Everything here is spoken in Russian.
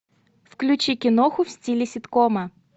включи киноху в стиле ситкома